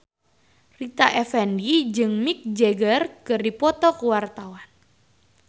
Rita Effendy jeung Mick Jagger keur dipoto ku wartawan